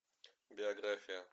биография